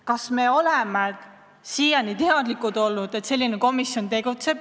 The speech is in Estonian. Kas me oleme siiani teadlikud olnud, et selline komisjon tegutseb?